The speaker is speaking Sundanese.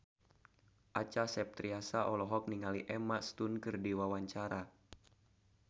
Acha Septriasa olohok ningali Emma Stone keur diwawancara